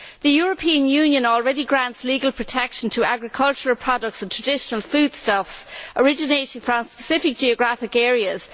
The European Union already grants legal protection to agricultural products and traditional foodstuffs originating from specific geographical areas.